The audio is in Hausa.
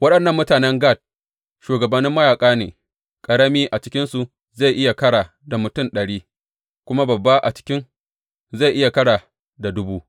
Waɗannan mutanen Gad shugabannin mayaƙa ne; ƙarami a cikinsu zai iya ƙara da mutum ɗari, kuma babba a cikin zai iya ƙara da dubu.